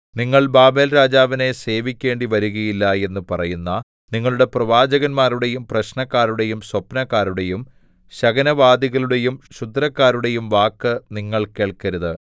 നിങ്ങൾ ബാബേൽരാജാവിനെ സേവിക്കേണ്ടി വരുകയില്ല എന്നു പറയുന്ന നിങ്ങളുടെ പ്രവാചകന്മാരുടെയും പ്രശ്നക്കാരുടെയും സ്വപ്നക്കാരുടെയും ശകുനവാദികളുടെയും ക്ഷുദ്രക്കാരുടെയും വാക്ക് നിങ്ങൾ കേൾക്കരുത്